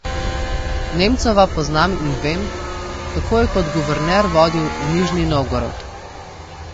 Nemcova poznam in vem, kako je kot guverner vodil Nižni Novgorod.